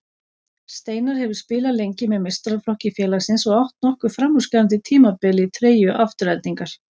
Steinar hefur spilað lengi með meistaraflokki félagsins og átt nokkur framúrskarandi tímabil í treyju Aftureldingar.